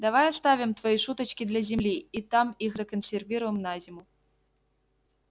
давай оставим твои шуточки для земли и там их законсервируем на зиму